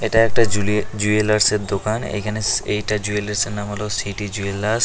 এটা একটা জুলে জুয়েলার্সের -এর দোকান এইখানে এইটা জুয়েলার্সের -এর নাম হল সিটি জুয়েলার্স ।